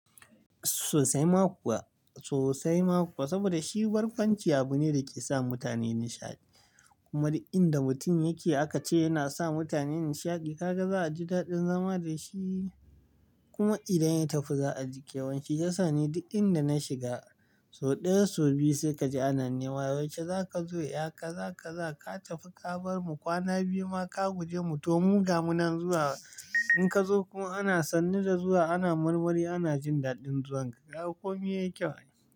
Sosai ma kuwa, sosai ma kuwa saboda shi barkwanci abu ne da ke sa mutane nishaɗi. Kuma duk inda mutum yake akace yana sa mutane nishaɗi. Kaga za a ji daɗin zama da shi kuma idan ya tafi za a ji kyawan shi. Shiyasa ni duk inda na shiga so ɗaya, so biyu sai ka ji anane. Wa yaushe za ka zo? Ya ka za ka za ka tafi ka bar mu kwana biyu ma ka guje mu. To mu gama nan zuwa. In ka zo kuma ana sannu da zuwa ana marmari ana jin daɗin zuwan ka. Kaga kome yayi kyau.